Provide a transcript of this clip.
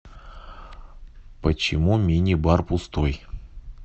почему мини бар пустой